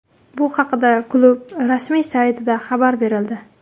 Bu haqida klub rasmiy saytida xabar berildi .